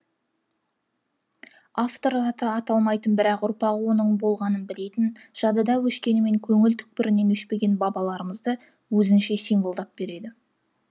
автор аты аталмайтын бірақ ұрпағы оның болғанын білетін жадыдан өшкенімен көңіл түпкірінен өшпеген бабаларымызды өзінше символдап береді